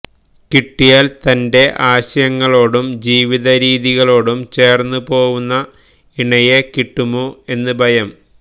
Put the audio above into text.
കിട്ടിയാൽ തന്റെ ആശയങ്ങളോടും ജീവിതരീതികളോടും ചേർന്നുപോവുന്ന ഇണയെ കിട്ടുമോ എന്ന ഭയം